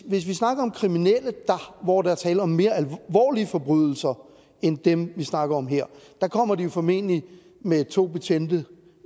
hvis vi snakker om kriminelle hvor der er tale om mere alvorlige forbrydelser end dem vi snakker om her så kommer de jo formentlig med to betjente